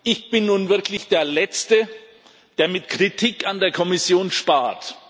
Ich bin nun wirklich der Letzte, der mit Kritik an der Kommission spart.